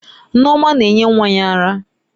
Nneoma na-enye nwa ya ara.